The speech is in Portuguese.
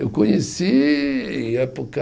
Eu conheci em época